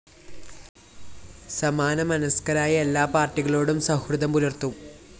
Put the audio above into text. സമാനമനസ്‌കരായ എല്ലാ പാര്‍ട്ടികളോടും സൗഹൃദം പുലര്‍ത്തും